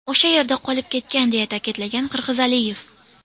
O‘sha yerda qolib ketgan”, deya ta’kidlagan Qirg‘izaliyev.